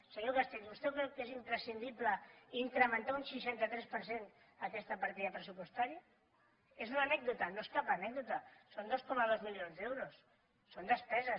senyor castells vostè creu que és imprescindible incrementar un seixanta tres per cent aquesta partida pressupostària és una anècdota no és cap anècdota són dos coma dos milions d’euros són despeses